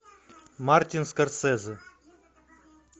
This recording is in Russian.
мартин скорсезе